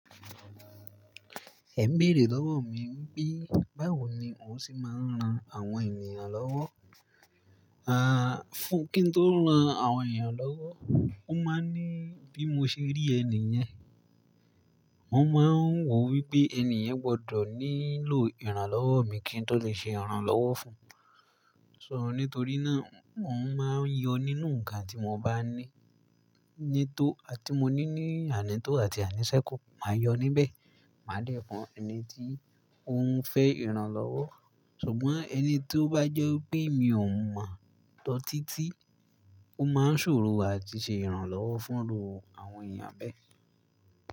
Ẹ ń bèrè lọ́wọ̀ mi pé báwo ni ó ń se máa ń ran àwọn ènìyàn lọ́wọ́. Fú, kí n tó ran àwọn èèyàn lọ́wọ́, wọ́n máa ń ní bí mo ṣe rí ẹni yẹn. Wọ́n máa ń wò wípé ẹni yẹn gbọdọ̀ nílò ìrànlọ́wọ́ mi kí n tó lè ṣe ìrànlọ́wọ́ fún un. So nítorí náà n ò máa ń yọ nínú ǹkan tí mo bá ní, nítò àti mo ní ní àní tó àti àní sẹ́kù, màá yọ níbẹ̀. Màá dè fún ẹni tí ó ń fẹ́ ìrànlọ́wọ́, ṣùgbọ́n ẹni tó bá jẹ́ pé mi ò mọ̀ ọ́n tọ títí, ó máa ń ṣòro àti ṣe ìrànlọ́wọ́ fún rúù àwọn èèyàn bẹ́ẹ̀.